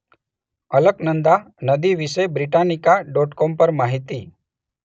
અલકનંદા નદી વિશે Britannica dot com પર માહિતી.